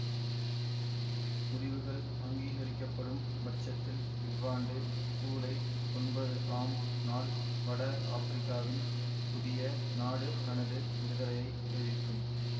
முடிவுகள் அங்கீகரிக்கப்படும் பட்சத்தில் இவ்வாண்டு சூலை ஒன்பது ஆம் நாள் வட ஆப்பிரிக்காவின் புதிய நாடு தனது விடுதலையை அறிவிக்கும்